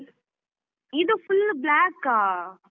ಇದು full ಉ black ಆ.